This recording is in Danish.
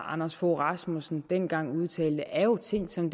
anders fogh rasmussen dengang udtalte er jo ting som